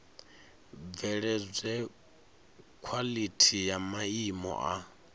bveledzwe khwalithi ya maimo a